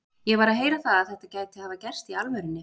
Ég var að heyra það að þetta gæti hafa gerst í alvörunni.